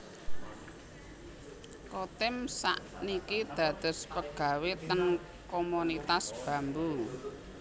Chotim sak niki dados pegawe ten Komunitas Bambu